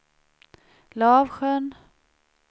Lavsjön